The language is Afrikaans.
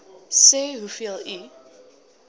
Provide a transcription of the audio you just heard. sê hoeveel u